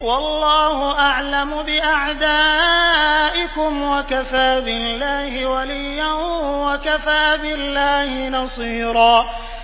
وَاللَّهُ أَعْلَمُ بِأَعْدَائِكُمْ ۚ وَكَفَىٰ بِاللَّهِ وَلِيًّا وَكَفَىٰ بِاللَّهِ نَصِيرًا